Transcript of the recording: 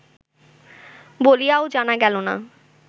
বলিয়াও জানা গেল না।